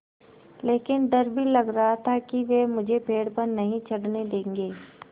लेकिन डर भी लग रहा था कि वे मुझे पेड़ पर नहीं चढ़ने देंगे